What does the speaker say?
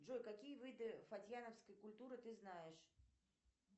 джой какие виды фатьяновской культуры ты знаешь